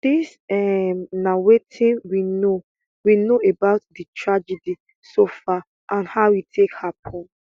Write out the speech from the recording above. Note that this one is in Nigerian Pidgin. dis um na wetin we know we know about di tragedy so far and how e take happun